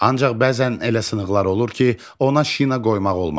Ancaq bəzən elə sınıqlar olur ki, ona şina qoymaq olmaz.